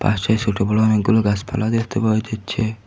পাশে সোটো বড়ো অনেকগুলো গাসপালা দেখতে পাওয়া যাচ্ছে।